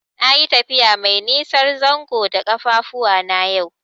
Nayi tafiya mai nisan zango da ƙafafuwana yau.